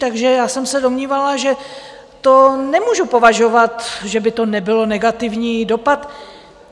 Takže já jsem se domnívala, že to nemůžu považovat, že by to nebyl negativní dopad.